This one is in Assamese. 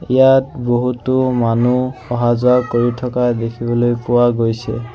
ইয়াত বহুতো মানুহ অহা-যোৱা কৰি থকা দেখিবলৈ পোৱা গৈছে।